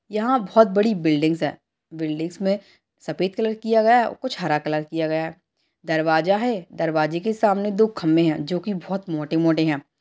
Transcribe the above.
यहाँ बहुत बड़ी बिल्डिंगस हैं बिल्डिंग में सफेद कलर किया गया है और कुछ हरा कलर किया गया है दरवाजा है दरवाजे के सामने दो खंभे हैं जो की बहुत मोटे-मोटे हैं।